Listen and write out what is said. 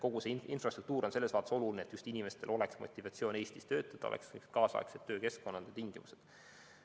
Kogu see infrastruktuur on selles mõttes oluline, et inimestel oleks motivatsiooni Eestis töötada, oleksid kaasaegsed töökeskkond ja -tingimused.